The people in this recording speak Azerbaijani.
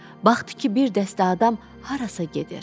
Baxdı ki, bir dəstə adam harasa gedir.